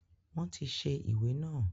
Wọn tí ṣe ìwé naa